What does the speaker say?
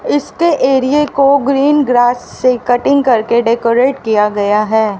इसके एरिये को ग्रीन ग्रास से कटिंग करके डेकोरेट किया गया है।